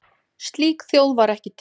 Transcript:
Slík þjóð var ekki til.